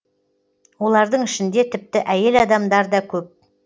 олардың ішінде тіпті әйел адамдар да көп